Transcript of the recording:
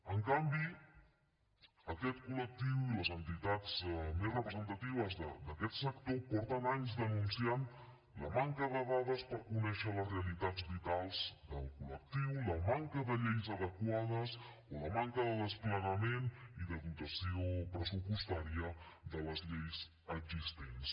en canvi aquest col·lectiu i les entitats més representatives d’aquest sector porten anys denunciant la manca de dades per conèixer les realitats vitals del col·lectiu la manca de lleis adequades o la manca de desplegament i de dotació pressupostària de les lleis existents